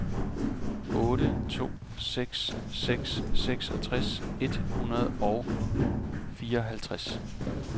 otte to seks seks seksogtres et hundrede og fireoghalvtreds